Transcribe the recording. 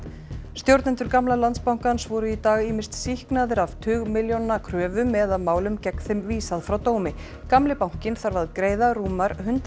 stjórnendur gamla Landsbankans voru í dag ýmist sýknaðir af tugmilljóna kröfum eða málum gegn þeim vísað frá dómi gamli bankinn þarf að greiða rúmar hundrað